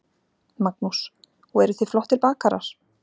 Magnús: Og eru þið flottir bakarar?